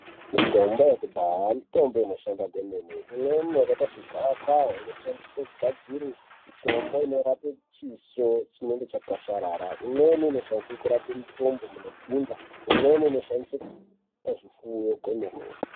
Mitombo yekudhaya mitombo inoshanda kwemene, imweni yakaita segavakava inoshandiswe kugadzire mitombo inorape chiso chinenge chakwasharara, imweni inoshandiswe kurape mitumbu munodzimba, imweni inoshandiswe pazvifuyo kwemene.